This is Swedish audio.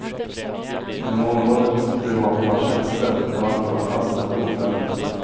Inom området privata tjänster var antalet anställda oförändrat.